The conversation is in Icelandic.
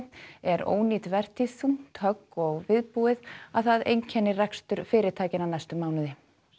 er ónýt vertíð þungt högg og viðbúið að það einkenni rekstur fyrirtækjanna næstu mánuði